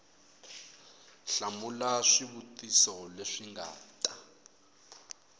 hlamula swivutiso leswi nga ta